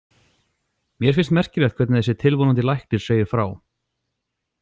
Mér finnst merkilegt hvernig þessi tilvonandi læknir segir frá.